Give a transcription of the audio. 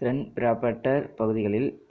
தென் Brabant பகுதி